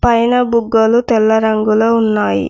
పైన బుగ్గలు తెల్ల రంగులో ఉన్నాయి.